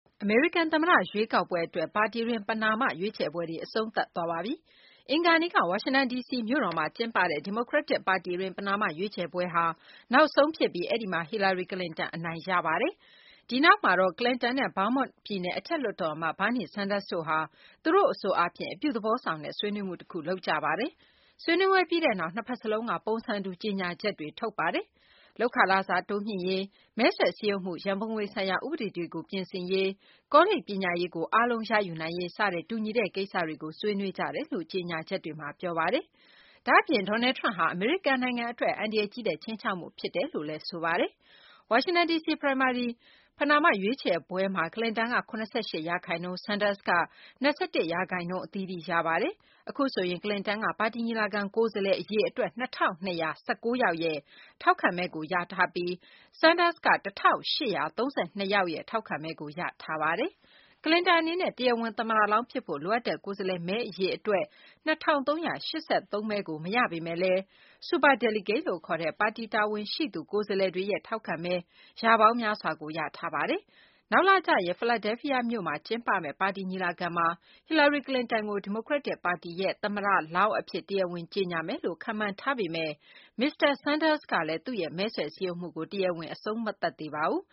အမေရိကန်သမ္မတရွေးကောက်ပွဲအတွက် ပါတီတွင်း ပဏာမရွေးချယ်ပွဲတွေ အဆုံးသတ်သွားပါပြီ။ အင်္ဂါနေ့က ဝါရှင်တန် ဒီစီ မြို့တော်မှာ ကျင်းပတဲ့ ဒီမိုကရက်တစ်ပါတီတွင်း ပဏာမရွေးချယ်ပွဲက နောက်ဆုံးဖြစ်ပြီး အဲဒီမှာ ဟီလာရီ ကလင်တန်က အနိုင်ရသွားပါတယ်။ အဲဒီနောက်မှာတော့ ကလင်တန်နဲ့ Vermont ပြည်နယ်အထက်လွှတ်တော်အမတ် Bernie Sanders တို့ဟာ - သူတို့ အဆိုအားဖြင့် အပြုသဘောဆောင်တဲ့ ဆွေးနွေးမှု တခုလုပ်ကြပါတယ်။ ဆွေးနွေးပွဲပြီးတဲ့နောက် နှစ်ဘက်စလုံးက ပုံစံတူ ကြေညာချက်တွေ ထုတ်ပြန်ပါတယ်။ လုပ်ခလစာ တိုးမြှင့်ရေး၊ မဲဆွယ်စည်းရုံးမှု ရန်ပုံငွေဆိုင်ရာ ဥပဒေတွေကို ပြင်ဆင်ရေး၊ ကောလိပ် ပညာရေးကို အားလုံးရယူနိုင်ရေး စတဲ့ တူညီတဲ့ ကိစ္စတွေကို ဆွေးနွေးကြတယ်လို့ ကြေညာ ချက်တွေမှာ ပြောပါတယ်။ ဒါ့အပြင် Donald Trump ဟာ အမေရိကန်နို်င်ငံအတွက် အန္တရာယ်ကြီးတဲ့ ခြိမ်းခြောက်မှုဖြစ်တယ်လို့လည်း ဆိုကြပါတယ်။ ဝါရှင်တန်ဒီစီ primary ပဏာမရွေးချယ်ပွဲမှာ ကလင်တန်က ၇၈% ၊ Sanders က ၂၁% အသီးသီးရပါတယ်။ အခုဆိုရင် ကလင်တန်က ပါတီညီလာခံ ကိုယ်စားလှယ်အရေအတွက် ၂၂၁၉ ယောက်ရဲ့ ထောက်ခံမဲကိုရထားပြီး Sanders က ၁၈၃၂ ယောက်ရဲ့ ထောက်ခံမဲကို ရထားပါ။ ကလင်တန်အနေနဲ့ တရားဝင် သမ္မတလောင်းဖြစ်ဖို့ လိုအပ်တဲ့ ကိုယ်စားလှယ်မဲအရေ အတွက် ၂၃၈၃ မဲကို မရပေမဲ့လည်း superdelegate လို့ခေါ်တဲ့ ပါတီတာဝန်ရှိသူ ကိုယ်စားလှယ်တွေရဲ့ ထောက်ခံမဲ ရာပေါင်း များစွာကို ရထားတာပါ။ နောက်လကျရင် ဖီလာဒဲလ်ဖီးယားမြို့မှာကျင်းပမယ့် ပါတီညီလာခံမှာ ဟီလာရီ ကလင်တန်ကို ဒီမိုကရက်တစ်ပါတီရဲ့ သမ္မတလောင်းအဖြစ် တရားဝင်ကြေညာမယ်လို့ ခန့်မှန်းထားပေမဲ့ မစ္စတာ Sanders ကလည်း သူ့ရဲ့ မဲဆွယ်စည်းရုံးမှုကို တရားဝင် အဆုံးမသတ်သေးပါဘူး